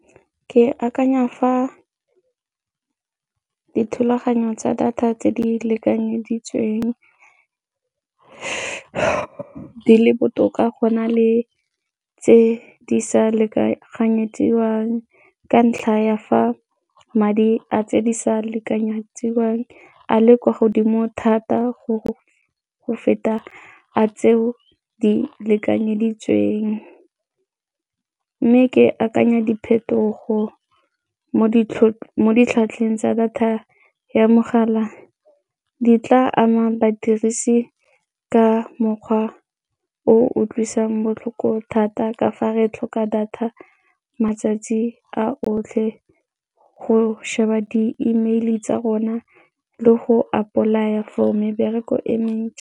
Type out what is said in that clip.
Ke akanya fa dithulaganyo tsa data tse di lekanyeditsweng di le botoka go na le tse di sa lekanyediwang ka ntlha ya fa madi a tse di sa lekanyetswang a le kwa godimo thata go feta a tseo di lekanyeditsweng mme ke akanya diphetogo mo ditlhwatlheng tsa data ya mogala di tla ama badirisi ka mokgwa o utlwisang botlhoko thata ka fa re tlhoka data matsatsi a otlhe go sheba di-email tsa rona le go apply-a for mebereko e mentsi.